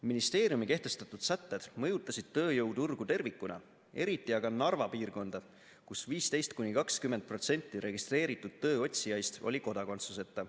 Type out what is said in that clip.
Ministeeriumi kehtestatud sätted mõjutasid tööjõuturgu tervikuna, eriti aga Narva piirkonda, kus 15–20% registreeritud tööotsijaist oli kodakondsuseta.